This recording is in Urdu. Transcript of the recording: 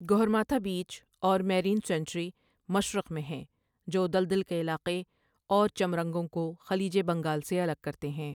گہرماتھا بیچ اور میرین سینکچری مشرق میں ہیں، جو دلدل کے علاقے اور چَمرَنگوں کو خلیج بنگال سے الگ کرتے ہیں۔